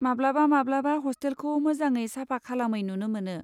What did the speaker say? माब्लाबा माब्लाबा हस्टेलखौ मोजाङै साफा खालामै नुनो मोनो।